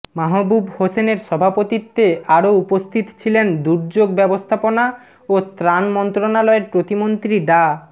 মাহবুব হোসেনের সভাপতিত্বে আরও উপস্থিত ছিলেন দুর্যোগ ব্যবস্থাপনা ও ত্রাণ মন্ত্রণালয়ের প্রতিমন্ত্রী ডা